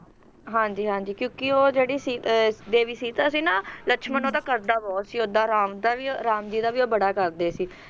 ਹਾਂਜੀ ਹਾਂਜੀ ਕੀ ਉਹ ਜਿਹੜੀ ਸ ਅਹ ਦੇਵੀ ਸੀਤਾ ਸੀ ਨਾ ਲਕਸ਼ਮਣ ਉਹਦਾ ਕਰਦਾ ਬਹੁਤ ਸੀ ਉਹਦਾ ਰਾਮ ਦਾ ਵੀ ਰਾਮ ਜੀ ਦਾ ਵੀ ਉਹ ਬੜਾ ਕਰਦੇ ਸੀ